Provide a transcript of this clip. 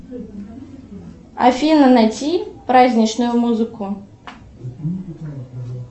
афина найти праздничную музыку